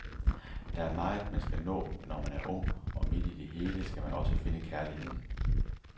Der er meget, man skal nå, når man er ung, og midt i det hele skal man også finde kærligheden.